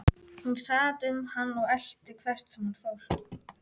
Hún sat um hann og elti hvert sem hann fór.